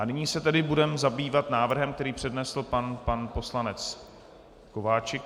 A nyní se tedy budeme zabývat návrhem, který přednesl pan poslanec Kováčik.